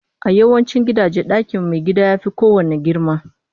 A yawancin gidaje, ɗakin maigida ya fi kowanne girma